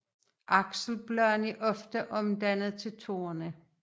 Akselbladene er ofte omdannet til torne